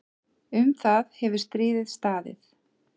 Um það hefur stríðið staðið.